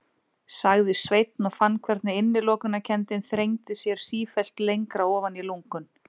sagði Sveinn og fann hvernig innilokunarkenndin þrengdi sér sífellt lengra ofan í lungun.